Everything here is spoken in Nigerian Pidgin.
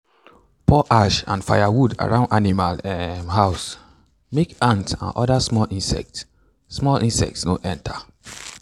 pour ash from firewood around animal um house make ant and other small insects small insects no enter.